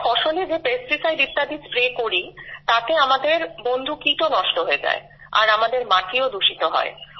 আমরা ফসলে যে পেস্টিসাইড ইত্যাদি স্প্রে করি তাতে আমাদের বন্ধু কীট ও নষ্ট হয়ে যায় আর আমাদের মাটি ও দূষিত হয়